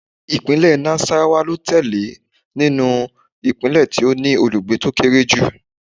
Ìpínlẹ̀ Nassarawa ló tẹ̀lé nínú ìpínlẹ̀ tó ní olùgbé tó kéré jù